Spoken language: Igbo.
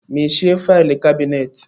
Mechie faịlụ kabinet!